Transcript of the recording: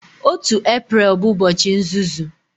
1 Eprel bụ ụbọchị nzuzu